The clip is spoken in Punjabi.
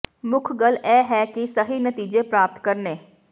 ਮੁੱਖ ਗੱਲ ਇਹ ਹੈ ਕਿ ਸਹੀ ਨਤੀਜੇ ਪ੍ਰਾਪਤ ਕਰਨੇ